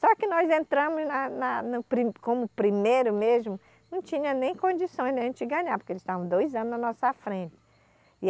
Só que nós entramos na, na, no pri, como primeiro mesmo, não tinha nem condições da gente ganhar, porque eles estavam dois anos na nossa frente.